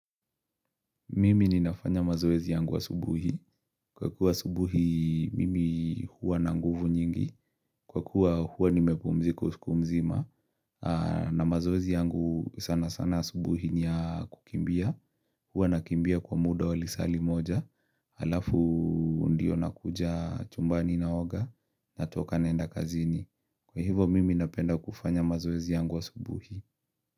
Mimi ninafanya mazoezi yangu wa asubuhi. Kwa kuwa asubuhi mimi huwa na nguvu nyingi. Kwa kuwa huwa nimepumzika usiku mzima. Na mazoezi yangu sana sana asubuhi niya kukimbia. Huwa nakimbia kwa muda walisali moja. Alafu ndio nakuja chumbani na oga. Natoka naenda kazini. Kwa hivo mimi napenda kufanya mazoezi yangu asubuhi.